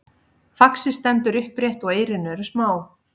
faxið stendur upprétt og eyrun eru smá